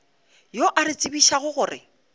yo a re tsebišago gore